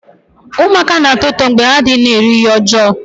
Ụmụaka na-atọ ụtọ mgbe ha na-adịghị ruo ihe ọjọọ